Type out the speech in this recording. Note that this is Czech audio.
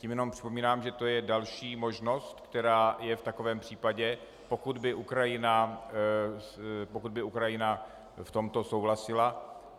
Tím jenom připomínám, že to je další možnost, která je v takovém případě, pokud by Ukrajina v tomto souhlasila.